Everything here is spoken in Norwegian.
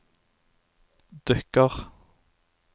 dukker